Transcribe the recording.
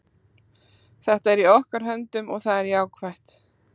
Þetta er í okkar höndum og það er jákvætt.